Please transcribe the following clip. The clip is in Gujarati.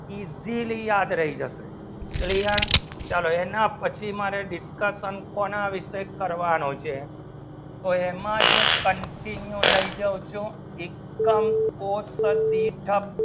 easily યાદ રહી જાવ શે ચલો એના પછી મારે discussion જેનો વિષે કાર્વરનું છે તો એમાં જો continue લેવું જયો શો income core થયો